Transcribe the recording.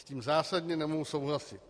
S tím zásadně nemohu souhlasit.